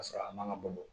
Ka sɔrɔ a man ka bɔ